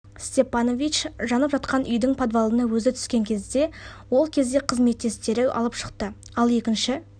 сттепанович жанып жатқан үйдің подвалына өзі түскен кезде ол кезде қызметтестері алып шықты ал екінші